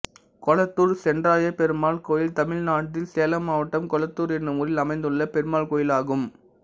கொளத்தூர் சென்றாயப்பெருமாள் கோயில் தமிழ்நாட்டில் சேலம் மாவட்டம் கொளத்தூர் என்னும் ஊரில் அமைந்துள்ள பெருமாள் கோயிலாகும்